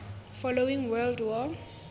following world war